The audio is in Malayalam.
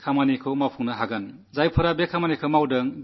ഇത് സാധിച്ചെടുത്തവരെ ഞാൻ അഭിനന്ദിക്കുന്നു